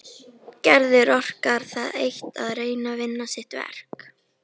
Gerður orkar það eitt að reyna að vinna sitt verk.